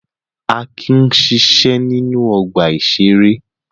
Akin ń ṣiṣẹ́ ní ọgbà-ìṣeré.